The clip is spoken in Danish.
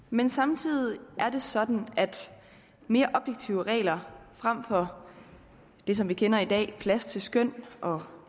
men samtidig er det sådan at mere objektive regler frem for det som vi kender i dag plads til skøn og